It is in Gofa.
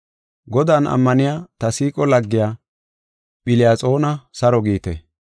Godan ammaniya ta siiqo laggiya, Philiyaxoona saro giite.